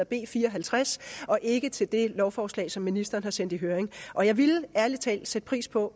b fire og halvtreds og ikke til det lovforslag som ministeren har sendt i høring og jeg ville ærlig talt sætte pris på